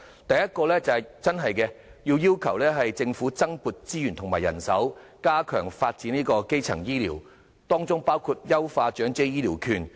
第一，要求政府增撥資源及人手，加強發展基層醫療，包括優化長者醫療券。